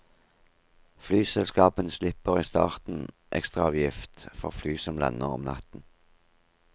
Flyselskapene slipper i starten ekstraavgift for fly som lander om natten.